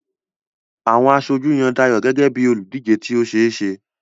Àwọn aṣojú yan Dayo gẹ́gẹ́ bí olùdíje tí ó ṣe é ṣe.